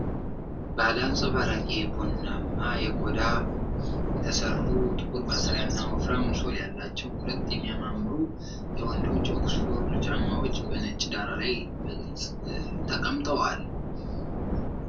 ባለ አንጸባራቂ ቡናማ ቆዳ የተሠሩ፣ ጥቁር ማሰሪያና ወፍራም ሶል ያላቸው ሁለት የሚያማምሩ የወንዶች ኦክስፎርድ ጫማዎች፣ በነጭ ዳራ ላይ በግልጽ ተቀምጠዋል።